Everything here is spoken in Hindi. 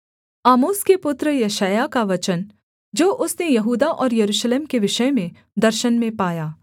आमोस के पुत्र यशायाह का वचन जो उसने यहूदा और यरूशलेम के विषय में दर्शन में पाया